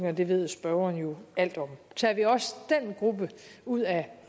og det ved spørgeren jo alt om tager vi også den gruppe ud af